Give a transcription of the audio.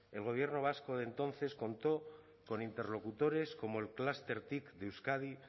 el gobierno vasco de entonces contó con interlocutores como el clúster cic de euskadi